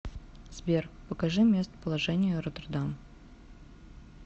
сбер покажи местоположение роттердам